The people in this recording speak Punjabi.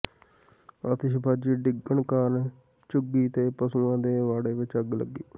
ਆਤਿਸ਼ਬਾਜ਼ੀ ਡਿੱਗਣ ਕਾਰਨ ਝੁੱਗੀ ਤੇ ਪਸ਼ੂਆਂ ਦੇ ਵਾੜੇ ਵਿਚ ਅੱਗ ਲੱਗੀ